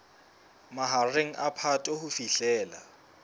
mahareng a phato ho fihlela